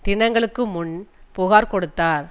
தினங்களுக்கு முன் புகார் கொடுத்தார்